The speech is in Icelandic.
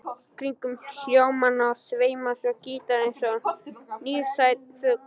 Kringum hljómana sveimar svo gítarinn eins og nærsýnn fugl.